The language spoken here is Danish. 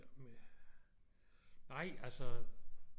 Med nej altså